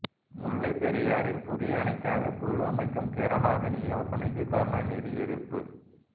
முல்லைப் பெரியாறில் புதிய அணைக்காக குழு அமைக்கும் கேரளாவின் யோசனைக்கு கருணாநிதி எதிர்ப்பு